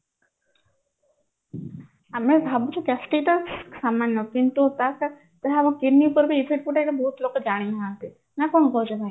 ଆମେ ଭାବୁଚେ gastric ଟା ସାମାନ୍ୟ କିନ୍ତୁ ଏହା kidney ଉପରେ ବି effect ପକାଏ ଏଇଟା ବହୁତ ଲୋକ ଜାଣିନାହାନ୍ତି ନା କଣ କହୁଛ ଭାଇ